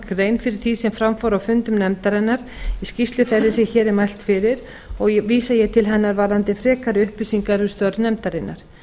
grein fyrir því sem fram fór á fundum nefndarinnar í skýrslu þeirri sem hér er mælt fyrir og vísa ég til hennar varðandi frekari upplýsingar um störf nefndarinnar